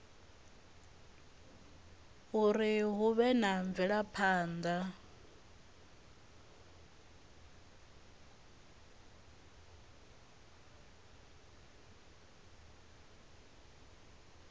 uri hu vhe na mvelaphana